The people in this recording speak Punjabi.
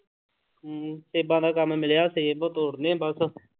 ਹਮ ਸੇਬਾਂ ਦਾ ਕੰਮ ਮਿਲਿਆ ਸੇਬ ਤੋੜਨੇ ਬਸ।